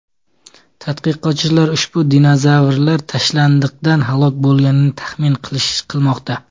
Tadqiqotchilar ushbu dinozavrlar tashnalikdan halok bo‘lganini taxmin qilmoqda.